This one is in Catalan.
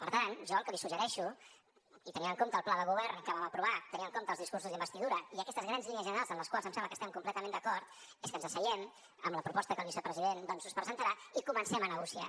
per tant jo el que li suggereixo i tenint en compte el pla de govern que vam aprovar tenint en compte els discursos d’investidura i aquestes grans línies generals en les quals em sembla que estem completament d’acord és que ens asseiem amb la proposta que el vicepresident doncs us presentarà i comencem a negociar